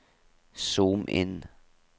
zoom inn